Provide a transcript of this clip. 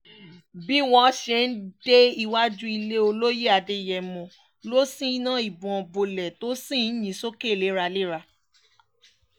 bí wọ́n ṣe ń dé iwájú ilé olóye adéyẹ̀mọ́ ló ṣínà ìbọn bolẹ̀ tó sì ń yìn ín sókè léraléra